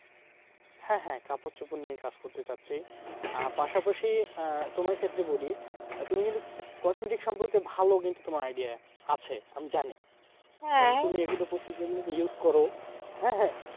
হ্যাঁ হ্যাঁ কাপড় চোপড় নিয়ে কাজ করতে চাচ্ছি আহ পাশাপাশি, আহ তোমার ক্ষেত্রে বলি তুমি কিন্তু cosmetics সম্পর্কে ভালো কিন্তু তোমার idea আছে আমি জানি। তুমি এগুলো প্রচুর এগুলোকে use করো হ্যাঁ হ্যাঁ